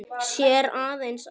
Sér aðeins ána.